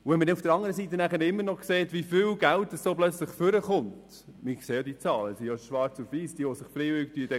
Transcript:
Ausserdem sieht man auch, wie viel Geld beim freiwilligen Deklarieren von Schwarzgeld zum Vorschein kommt.